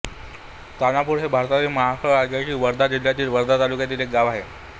तानापूर हे भारतातील महाराष्ट्र राज्यातील वर्धा जिल्ह्यातील वर्धा तालुक्यातील एक गाव आहे